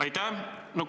Aitäh!